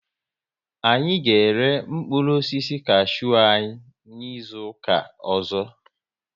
Anyị ga ere mkpụrụ osisi kashew anyi n'izuka ọzọ